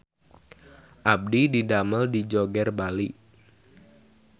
Abdi didamel di Joger Bali